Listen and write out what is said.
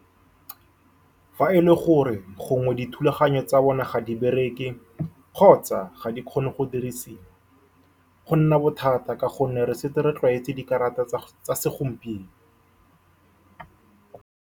Fa e le gore gongwe dithulaganyo tsa bone ga di bereke, kgotsa ga di kgone go dirisiwa, go nna bothata ka gonne re setse re tlwaetse dikarata tsa tsa segompieno.